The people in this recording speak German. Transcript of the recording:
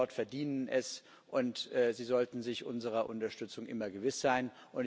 Die Menschen dort verdienen es, und sie sollten sich unserer Unterstützung immer gewiss sein.